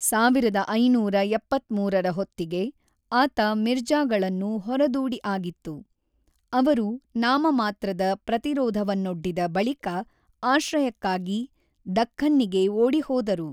ಸಾವಿರದ ಐನೂರ ಎಪ್ಪತ್ತ್ಮೂರರ ಹೊತ್ತಿಗೆ, ಆತ ಮಿರ್ಜಾಗಳನ್ನು ಹೊರದೂಡಿ ಆಗಿತ್ತು, ಅವರು ನಾಮಮಾತ್ರದ ಪ್ರತಿರೋಧವನ್ನೊಡ್ಡಿದ ಬಳಿಕ ಆಶ್ರಯಕ್ಕಾಗಿ ದಖ್ಖನ್ನಿಗೆ ಓಡಿಹೋದರು.